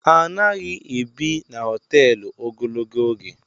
Anaghị ebi n'hoteelu ogologo oge